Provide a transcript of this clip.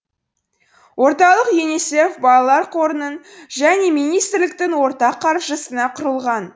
орталық юнисеф балалар қорының және министрліктің ортақ қаржысына құрылған